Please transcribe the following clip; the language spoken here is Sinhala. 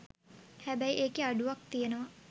හැබැයි ඒකෙ අඩුවක් තියනව.